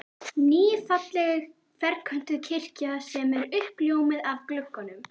Ný, falleg ferköntuð kirkja sem er uppljómuð af gluggum